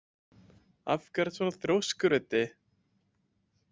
Af hverju ertu svona þrjóskur, Auddi?